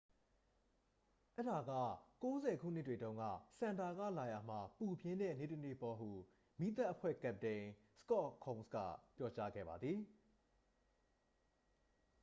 """အဲဒါက ၉၀ ခုနှစ်တွေတုန်းက စန်တာ ကလာရာ မှာ ပူပြင်းတဲ့နေ့တစ်နေ့ပေါ့။ ဟု မီးသတ်အဖွဲ့ကပ္ပတိန် စကော့ ခုန်းစ် က ပြောကြားခဲ့ပါသည်။